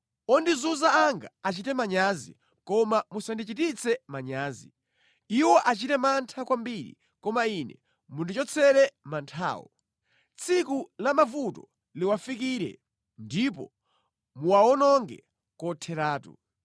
Ondizunza anga achite manyazi, koma musandichititse manyazi; iwo achite mantha kwambiri, koma ine mundichotsere manthawo. Tsiku la mavuto liwafikire; ndipo muwawononge kotheratu.